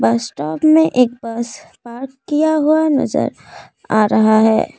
बस स्टॉप में एक बस पार्क किया हुआ नजर आ रहा है।